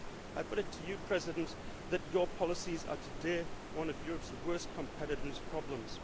I put it to you, President Barroso, that your policies are today one of Europe's worst competitiveness problems.